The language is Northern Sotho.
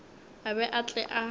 a be a tle a